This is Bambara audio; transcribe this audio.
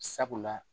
Sabula